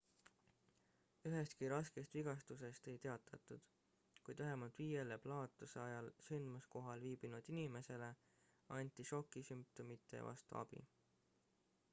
ühestki raskest vigastusest ei teatatud kuid vähemalt viiele plahvatuse ajal sündmuskohal viibinud inimesele anti šoki sümptomite vastu abi